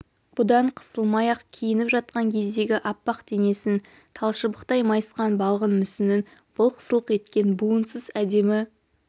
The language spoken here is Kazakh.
бұдан қысылмай-ақ киініп жатқан кездгі аппақ денесін талшыбықтай майысқан балғын мүсінін былқ-сылқ еткен буынсыз әдемі